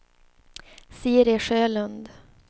Siri Sjölund